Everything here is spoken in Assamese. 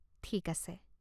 ঠিক আছে।